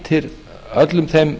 mætir öllum þeim